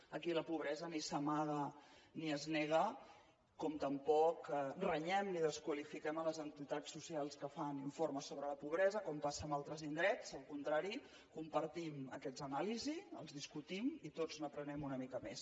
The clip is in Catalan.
aquí la pobresa ni s’amaga ni es nega com tampoc renyem ni desqualifiquem les entitats socials que fan informes sobre la pobresa com passa en altres indrets al contrari compartim aquestes anàlisis les discutim i tots n’aprenem una mica més